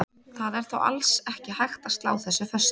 Það er þó alls ekki hægt að slá þessu föstu.